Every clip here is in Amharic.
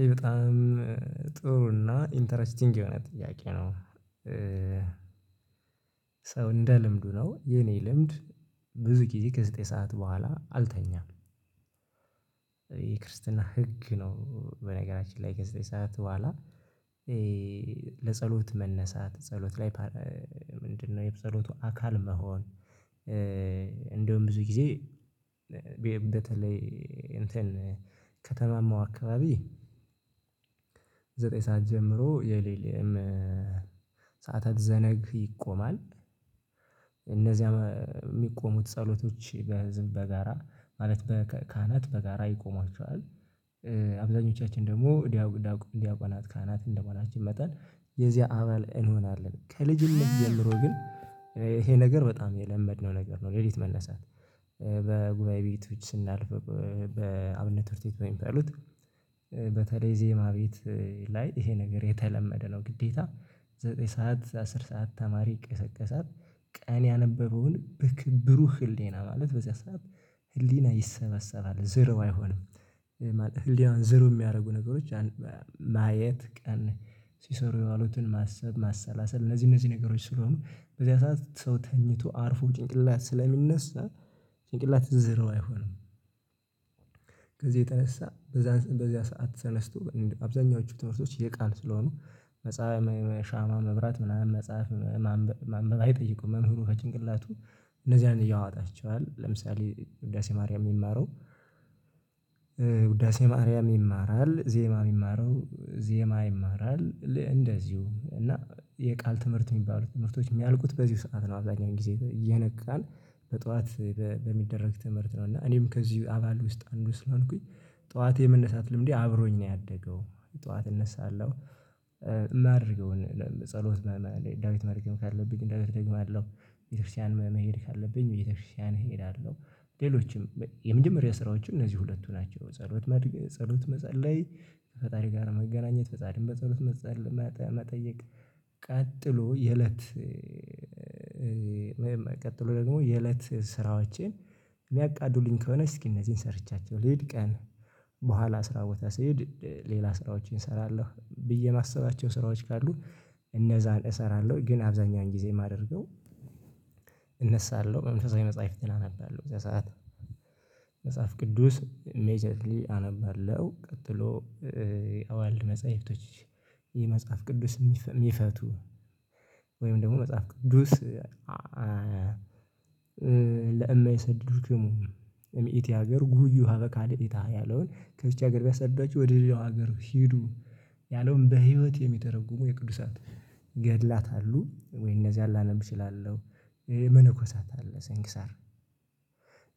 ይሄ በጣም ጥሩ እና ኢንተረስቲንግ የሆነ ጥያቄ ነው። ሰው እንደ ልምዱ ነው። የኔ ልምድ ብዙ ጊዜ ከዘጠኝ ሰዓት በኋላ አልተኛም። የክርስትና ህግ ነው በነገራችን ላይ ዘጠኝ ሰዓት በኋላ ለጸሎት መነሳት ጸሎት ላይ ምንድነው የጸሎቱ አካል መሆን ብዙ ጊዜ በተለይ እንትን ከተማማው አካባቢ ዘጠኝ ሰዓት ጀምሮ የሌሊም ሰዓታት ዘነግ ይቆማል እነዚያም የሚቆሙት ጸሎቶች በህዝብ በጋራ ማለት በካህናት በጋራ ይቆሟቸዋል። አብዛኞቻችን ደግሞ ዲያቆናት ካህናት እንደመሆናችን መጠን የዚያ አባል እንሆናለን። ከልጅነት ጀምሮ ግን ይሄ ነገር በጣም የለመድነው ነገር ነው ሌሊት መነሳት። በጉባኤ ቤቶች ስናልፍ በአብነት ትምህርት ቤት በሚባሉት፤ በተለይ ዜማ ቤት ላይ ይሄ ነገር የተለመደ ነው። ግዴታ ዘጠኝ ሰዓት አስር ሰዓት ተማሪ ይቀሰቀሳል ቀን ያነበበውን በክ ብሩህ ህሊና ማለት በዚያ ሰዓት ህሊና ይሰበሰባል ዜሮ አይሆንም ህሊናውን ዜሮ የሚያደርጉ ነገሮች፥ ማየት፤ ቀን ሲሰሩ የዋሉትን ማሰብ፤ ማሰላሰል እነዚህ እነዚህ ነገሮች ስለሆኑ፤ በዚያ ሰዓት ሰው ተኝቶ አርፎ ጭንቅላት ስለሚነሳ፤ ጭንቅላት ዜሮ አይሆንም። ከዚህ የተነሳ በዛ በዚያ ሰዓት ተነስቶ አብዛኛዎቹ ትምህርቶች የቃል ስለሆኑ መጽሐፍ ሻማ መብራት ምናምን መጻፍ ማንበብ አይጠይቁም። መምህሩ ከጭንቅላቱ እነዚያን ያወጣቸዋል። ለምሳሌ ውዳሴ ማርያም የሚማረው ውዳሴ ማርያም ይማራል። ዜማ የሚማረው ዜማ ይማራል። እንደዚሁ እና የቃል ትምህርት የሚባሉ ትምህርቶች የሚያልቁት በዚህ ሰዓት ነው አብዛኛውን ጊዜ። እየነቃን በጠዋት በሚደረግ ትምህርት ነው እና እኔም ከዚህ አባል ውስጥ አንዱ ስለሆንኩኝ ጠዋት የመነሳት ልምዴ አብሮኝ ነው ያደገው። ጠዋት እነሳለሁ የማደርገውን ጸሎት ዳዊት መድገም ካለብኝ አደግማለሁ፤ ቤተክርስቲያን መሄድ ካለብኝ ቤተክርስቲያን እሄዳለሁ፤ ሌሎችም የመጀመሪያ ስራዎቼ እነዚህ ሁለቱ ናቸው። ጸሎት መድገ ጸሎት መጸለይ፤ ከፈጣሪ ጋር መገናኘት፤ ፈጣሪን በጸሎት መጸለይ መጠየቅ ቀጥሎ የእለት ቀጥሎ ደግሞ የእለት ስራዎቼን የሚያቃልሉልኝ ከሆነ እስኪ እነዚህን ሰርቻቸው ልሂድ ቀን በኋላ ስራ ቦታ ስሄድ ሌላ ስራዎችን እሰራለሁ ብዬ የማስባቸው ስራዎች ካሉ እነዛን እሰራለሁ ግን አብዛኛውን ጊዜ የማደርገው እነሳለሁ፤ መንፈሳዊ መጽሐፍትን አነባለሁ በዛ ሰዓት መጽሐፍ ቅዱስ ኢሚዲየትሊ አነባለሁ ቀጥሎ አዋልድ መጽሐፍቶች ይህ መጽሐፍ ቅዱስ የሚፈቱ ወይም ደግሞ መጽሐፍ ቅዱስ ለእማይሰድዱ ድሙ እምኢት ያገር ጉዩ ሀበካ አዲኢታ ያለውን ከዚች ሀገር ቢያሳድዷችሁ ወደ ሌላው ሀገር ሂዱ ያለውን በህይወት የሚተረጉሙ የቅዱሳት ገድላት አሉ። ወይ እነዚያን ላነብ እችላለሁ። መነኮሳት አለ ስንክሳር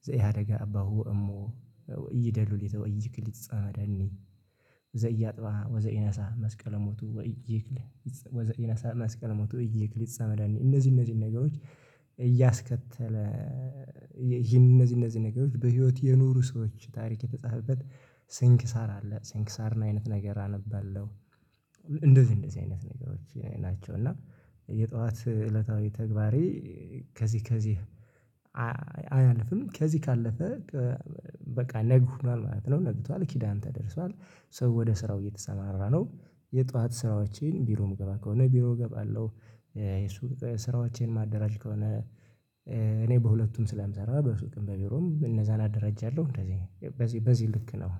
ዘይሃደጋ አባሁ እሞ እይደሉሊተው እይክልትጸመዳኒ ዘያጥባ ወዘይነሳ መስቀለሞቱ ወይክል ወይ ይነሳ መስቀል ሞቱ ይክል ይጻ መዳኒ እነዚህ እነዚህ ነገሮች እያስከተለ እነዚህ እነዚህ ነገሮች በህይወት የኖሩ ሰዎች ታሪክ የተጻፈበት ስንክሳር አለ ስንክሳርን አይነት ነገር አነባለሁ። እንደዚህ እንደዚህ አይነት ነገሮች ናቸው እና የጠዋት እለታዊ ተግባሬ ከዚህ ከዚህ አያልፍም። ከዚህ ካለፈ በቃ ነግ ሆኗል ማለት ነው። ነግቷል፤ ኪዳን ተደርሷል፤ ሰው ወደ ስራው እየተሰማራ ነው። የጧት ስራዎቼን ቢሮ የምገባ ከሆነ ቢሮ እገባለሁ የሱቅ ስራዎቼን የማደራጅ ከሆነ እኔ በሁለቱም ስለምሰራ በሱቅም በቢሮም እነዛን አደራጃለሁ። እንደዚህ በዚህ በዚህ ልክ ነው።